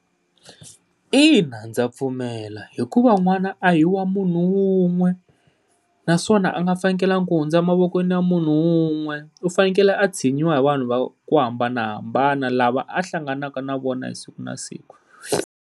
Ina ndza pfumela, hikuva n'wana a hi wa munhu wun'we naswona a nga fanekalangi ku hundza a mavokweni ya munhu wun'we u fanekele a tshinyiwa vanhu va ku hambanahambana lava a hlanganaka na vona siku na siku.